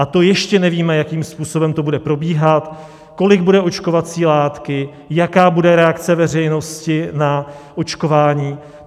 A to ještě nevíme, jakým způsobem to bude probíhat, kolik bude očkovací látky, jaká bude reakce veřejnosti na očkování.